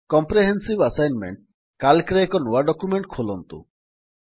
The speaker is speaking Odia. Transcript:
କମ୍ପ୍ରେହେନ୍ସିଭ୍ ଆସାଇନମେଣ୍ଟ୍ ସିଏଏଲସି ରେ ଏକ ନୂଆ ଡକ୍ୟୁମେଣ୍ଟ୍ ଖୋଲନ୍ତୁ